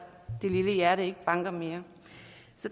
det lille hjerte ikke banker mere